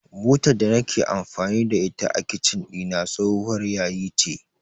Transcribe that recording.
Butar da nake amfani da ita a Kicin ɗina tsohuwar yayi ce.